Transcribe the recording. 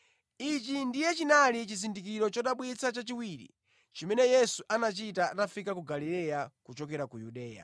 Ichi ndiye chinali chizindikiro chodabwitsa chachiwiri chimene Yesu anachita atafika ku Galileya kuchokera ku Yudeya.